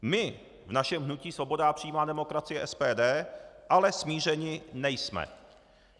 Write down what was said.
My v našem hnutí Svoboda a přímá demokracie - SPD ale smířeni nejsme.